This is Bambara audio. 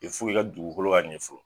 i ka dugukolo ka ɲɛ fɔlɔ